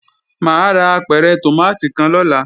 Mà á ra apẹ̀rẹ̀ tòmátì kan lọ́la